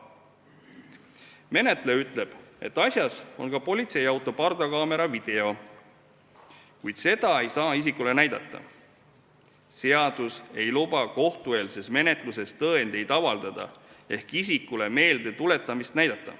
Menetleja ütleb, et on ka politseiauto pardakaamera video, kuid seda ei saa isikule näidata, sest seadus ei luba kohtueelses menetluses tõendeid avaldada ehk isikule meeldetuletamiseks näidata.